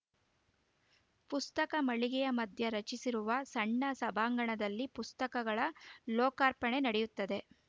ಪುಸ್ತಕ ಮಳಿಗೆಯ ಮಧ್ಯೆ ರಚಿಸಿರುವ ಸಣ್ಣ ಸಭಾಂಗಣದಲ್ಲಿ ಪುಸ್ತಕಗಳ ಲೋಕಾರ್ಪಣೆ ನಡೆಯುತ್ತದೆ